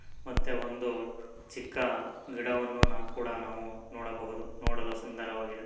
ಮತ್ತೆ ಒಂದು ಚಿಕ್ಕ ಗಿಡವನ್ನು ನಾವು ಕೂಡ ನಾವು ನೋಡಬಹುದು ನೋಡಲು ಸುಂದರವಾಗಿದೆ --